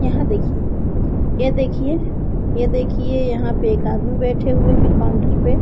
यहां देखिए ये देखिए ये देखिए यहां पे एक आदमी बैठे हुए हैं काउंटर पे।